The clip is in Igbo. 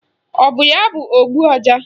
Ọ bụ ya bụ ogbu ọja?